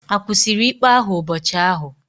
A kwụsịrị ikpe ahụ ụbọchị ahụ?